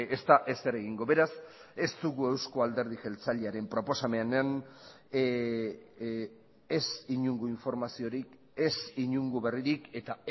ez da ezer egingo beraz ez dugu euzko alderdi jeltzalearen proposamenean ez inongo informaziorik ez inongo berririk eta